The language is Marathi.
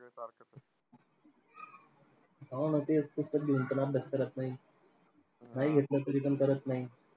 हा ना तेच, पुस्तक घेऊन पण अभ्यास करत नाही. नाही घेतलं तरीपण करत नाही.